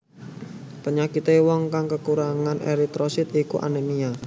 Penyakité wong kang kakurangan eritrosit iku anemia